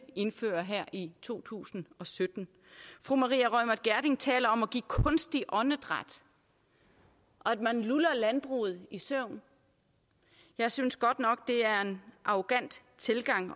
indføre her i to tusind og sytten fru maria reumert gjerding taler om at give kunstigt åndedræt og at man luller landbruget i søvn jeg synes godt nok det er en arrogant tilgang